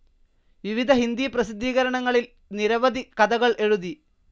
വിവിധ ഹിന്ദി പ്രസിദ്ധീകരണങ്ങളിൽ നിരവധി കഥകൾ എഴുതി.